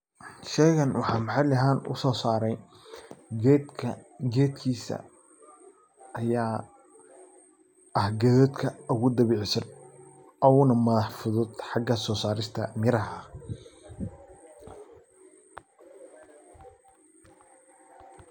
Shaygan waxan maxalli ahaan u sosaare geedka geedkiisa aya ah geedadka ogu dabiicisan oogu na madax fudud xaga soosarista garaha.